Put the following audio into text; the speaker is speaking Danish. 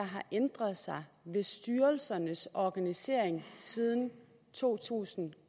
har ændret sig ved styrelsernes organisering siden to tusind